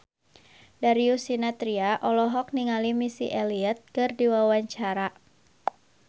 Darius Sinathrya olohok ningali Missy Elliott keur diwawancara